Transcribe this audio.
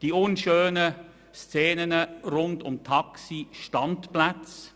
die unschönen Szenen rund um Taxistandplätze;